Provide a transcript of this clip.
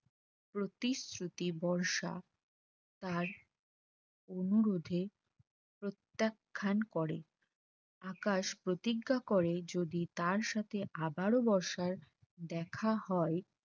প্রতিশ্রুতি বর্ষা তার অনুরোধে প্রত্যাখ্যান করে আকাশ প্রতিজ্ঞা করে যদি তার সাথে আবারো বর্ষার দেখা হয়